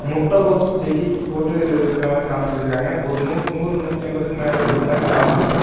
முட்டகோஸ் செடி போட்டு இருக்கிற மாரி காமிச்சிருக்கராங்க ஒரு நூறு நூத்தி ஐம்பதுக்கு மேல இருக்கற மாரி காமிச்சிருக்கராங்க.